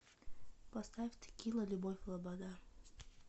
поставь текила любовь лобода